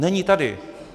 Není tady.